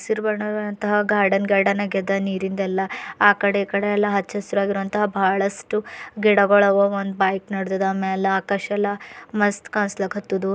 ಹಸಿರು ಬಣ್ಣದಂತಹ garden garden ಆಗದ ನೀರಿಂದೆಲ್ಲ ಆ ಕಡೆ ಈ ಕಡೆ ಎಲ್ಲಾ ಹಚ್ಚಹಸಿರಾಗುವಂತಹ ಬಹಳಷ್ಟು ಗಿಡಗಳವ ಒಂದು ಬೈಕ್ ನಡ್ದದ ಮ್ಯಾಲ ಆಕಾಶ ಎಲ್ಲ ಮಸ್ತ್ ಕಾಣ್ಸ್ಲತದು.